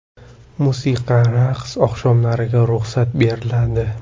Musiqa va raqs oqshomlariga ruxsat beriladi.